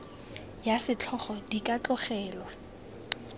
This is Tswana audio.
ya setlhogo di ka tlogelwa